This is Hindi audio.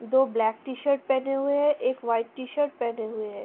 दो ब्लैक टी-शर्ट पेहने हुए है | एक व्‍हाईट टी शर्ट पेहने हुए है ।